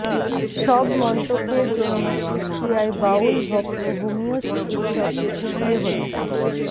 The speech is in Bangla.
সব মন্তব্যের জন্য কুষ্টিয়ায় বাউল ভক্ত হোমিও চিকিৎসককে কুপিয়ে হত্যা